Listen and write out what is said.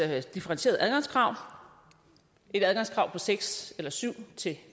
differentierede adgangskrav et adgangskrav på seks eller syv til